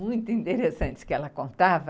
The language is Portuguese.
muito interessantes que ela contava.